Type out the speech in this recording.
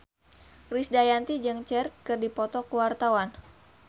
Krisdayanti jeung Cher keur dipoto ku wartawan